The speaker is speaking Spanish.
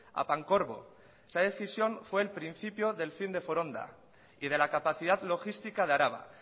a pancorbo esa decisión fue el principio del fin de foronda y de la capacidad logística de araba